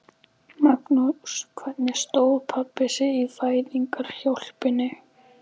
Magnús: Hvernig stóð pabbi sig í fæðingarhjálpinni?